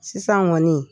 Sisan kɔni